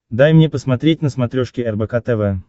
дай мне посмотреть на смотрешке рбк тв